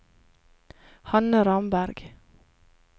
Hanne Ramberg